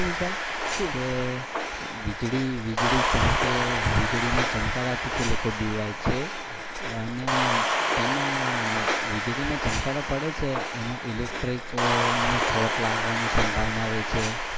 વીજળી વીજળી ચમકે અને વીજળી ના ચમકારા થી લોકો બિવાય છે અને તેમાં વીજળી ના ચમકરા પડે છે તેમાં electric નો શોર્ટ લાગવાંનો સંભાવના રહે છે